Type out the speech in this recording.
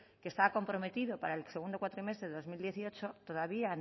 que estaba comprometido para el segundo cuatrimestre de dos mil dieciocho todavía